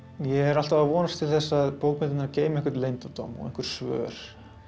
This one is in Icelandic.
ég er alltaf að vonast til þess að bókmenntirnar geymi einhvern leyndardóm og svör